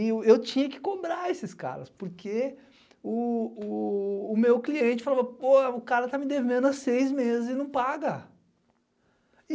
E eu tinha que cobrar esses caras, porque o meu cliente falava, pô, o cara tá me devendo há seis meses e não paga.